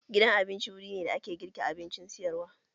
Gidan abinci wuri ne da ake girka abincin sayarwa